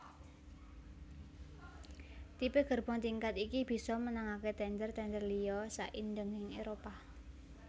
Tipe gerbong tingkat iki bisa menangaké tènder tènder liya saindhenging Éropah